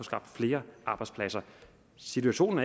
skabt flere arbejdspladser situationen